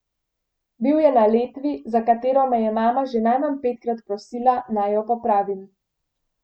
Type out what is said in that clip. Bil je na letvi, za katero me je mama že najmanj petkrat prosila, naj jo popravim.